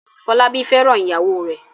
Fọlábí fẹ́ràn ìyàwó rẹ̀ m